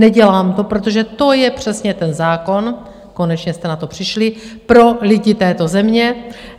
Neudělám to, protože to je přesně ten zákon - konečně jste na to přišli - pro lidi této země.